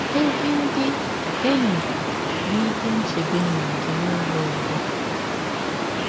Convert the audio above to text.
Ezi ndị enyi bụ ihe nchebe nye gị n’ụzọ ọzọ.